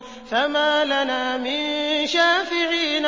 فَمَا لَنَا مِن شَافِعِينَ